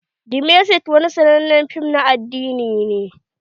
The message wani sannanen fim na addini ne.